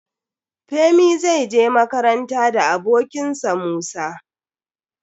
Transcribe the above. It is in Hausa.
Femi zai je makaranta da abokin sa Musa.